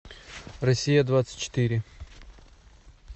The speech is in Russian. россия двадцать четыре